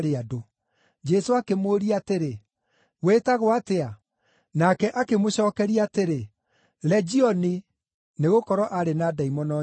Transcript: Jesũ akĩmũũria atĩrĩ, “Wĩtagwo atĩa?” Nake akĩmũcookeria atĩrĩ, “Legioni,” nĩgũkorwo aarĩ na ndaimono nyingĩ.